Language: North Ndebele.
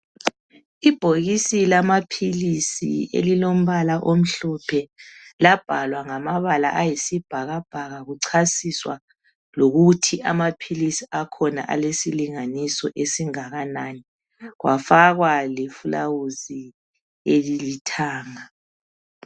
Ibhokisi lamaphilisi elilombala omhlophe labhalwa ngamabala ayisibhakabhaka kuchasiswa lokuthi amaphilisi akhona alesilinganiso esingakanani. Kwafakwa lefulawuzi elilithanga